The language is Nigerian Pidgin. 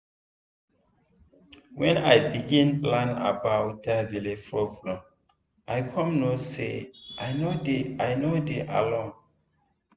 when i begin learn about that belle problem i come know say i no dey i no dey alone